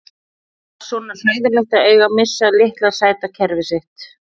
Var svona hræðilegt að eiga að missa litla sæta kerfið sitt?